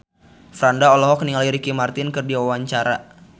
Franda olohok ningali Ricky Martin keur diwawancara